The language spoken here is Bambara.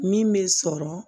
Min bɛ sɔrɔ